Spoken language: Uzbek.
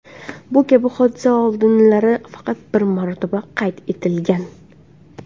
Bu kabi hodisa oldinlari faqat bir marotaba qayd etilgan.